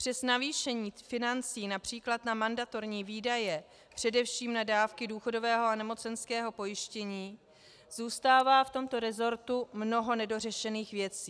Přes navýšení financí například na mandatorní výdaje, především na dávky důchodového a nemocenského pojištění, zůstává v tomto resortu mnoho nedořešených věcí.